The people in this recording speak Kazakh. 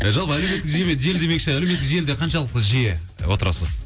жалпы әлеуметтік желі желі демекші әлеуметтк желіде қаншалықты жиі отырасыз